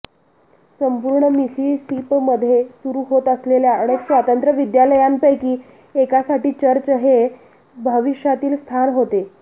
संपूर्ण मिसिसिपीमध्ये सुरु होत असलेल्या अनेक स्वातंत्र्य विद्यालयांपैकी एकासाठी चर्च हे भविष्यातील स्थान होते